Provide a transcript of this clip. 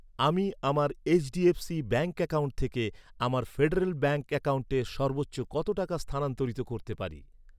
আমি আমার HDFC bank account থেকে আমার ফেডারেল ব্যাঙ্ক অ্যাকাউন্টে সর্বোচ্চ কত টাকা স্থানান্তর করতে পারি?